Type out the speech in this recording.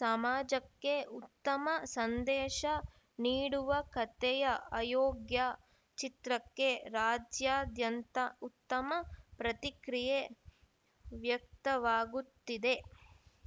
ಸಮಾಜಕ್ಕೆ ಉತ್ತಮ ಸಂದೇಶ ನೀಡುವ ಕಥೆಯ ಅಯೋಗ್ಯ ಚಿತ್ರಕ್ಕೆ ರಾಜ್ಯಾದ್ಯಂತ ಉತ್ತಮ ಪ್ರತಿಕ್ರಿಯೆ ವ್ಯಕ್ತವಾಗುತ್ತಿದೆ